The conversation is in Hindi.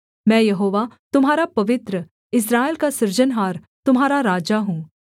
मैं यहोवा तुम्हारा पवित्र इस्राएल का सृजनहार तुम्हारा राजा हूँ